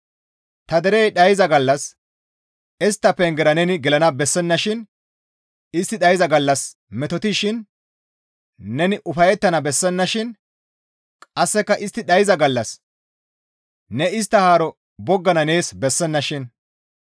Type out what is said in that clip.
Ta derey dhayza gallas istta pengera neni gelana bessennashin; istti dhayza gallas metotishin neni ufayettana bessennashin; qasseka istti dhayza gallas ne istta haaro boggana nees bessennashin.